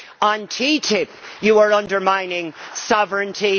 On TTIP you are undermining sovereignty.